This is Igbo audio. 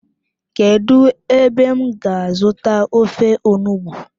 Kedu ebe m ga azuta ofe onugbu?